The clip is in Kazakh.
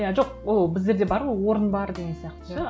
иә жоқ ол біздерде бар ғой орын бар деген сияқты ше